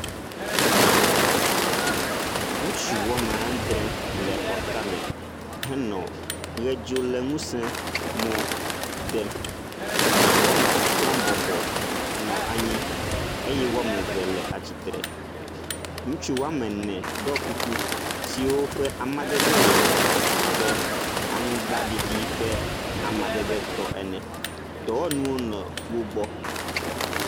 Ŋutsu woame andre le xɔ tame henɔ ʋedzoléŋusẽ mɔ dem. Woame atɔ̃ bɔbɔ nɔ anyi eye woame eve le atsitre. Ŋutsu woame ene ɖɔ kuku siwo ƒe amadede le abe aŋugbaɖiɖi ƒe amadedetɔ ene. Dɔwɔnuwo le wo gbɔ.